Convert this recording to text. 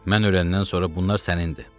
Mən ölənən sonra bunlar sənindir.